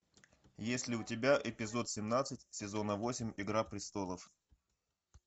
есть ли у тебя эпизод семнадцать сезона восемь игра престолов